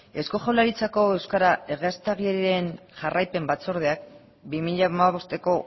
eusko jaurlaritzako euskara egiaztagirien jarraipen batzordeak bi mila hamabostko